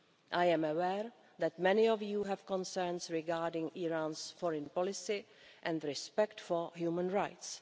I am aware that many of you have concerns regarding Iran's foreign policy and respect for human rights.